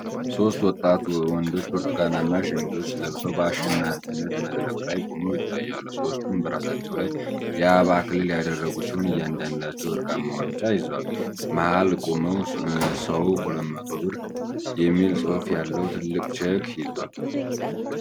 ሶስት ወጣት ወንዶች ብርቱካናማ ሸሚዞች ለብሰው በአሸናፊነት መድረክ ላይ ቆመው ይታያሉ። ሦስቱም በራሳቸው ላይ የአበባ አክሊል ያደረጉ ሲሆን እያንዳንዳቸው የወርቅ ዋንጫ ይዘዋል። መሃልል የቆመው ሰው "200,000 BIRR ELITE WINNER" የሚል ጽሑፍ ያለበት ትልቅ ቼክ ይዟል።